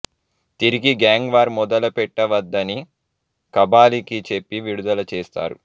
తిరిగి gang war మొదలుపెట్టవద్దని కబాలికి చెప్పి విడుదల చేస్తారు